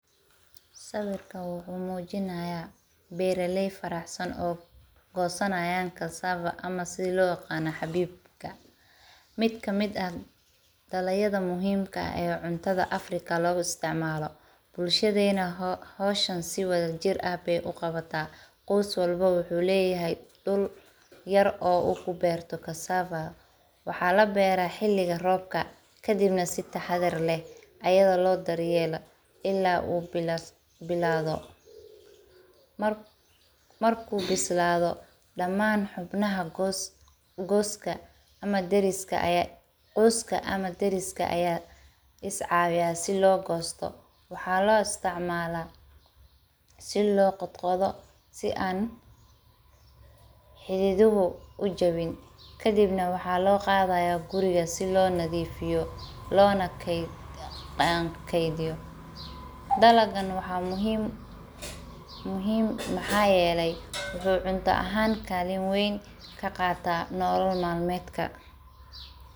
Sawirka wuxuu mujinaya bera ley badan oo gosanaya cassava ama sitha lo yaqano xabibka qos walbo wuxuu leyahay meel yar oou kuberto cassava waxaa labeera waqtiga robka kadibna si taxadar leh lobero kabacdi qoska ama dariska aya is cawiya waxa loqodha si tartib ah si u ujabin kadib waxaa loqadha xafada si u ujawin dalaga muhiim maxaa yele wuxuu cunta ahan kaqata nolol mal medka.